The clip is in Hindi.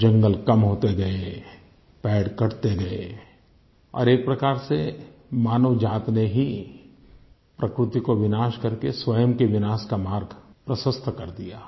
जंगल कम होते गए पेड़ कटते गए और एक प्रकार से मानवजाति ने ही प्रकृति का विनाश करके स्वयं के विनाश का मार्ग प्रशस्त कर दिया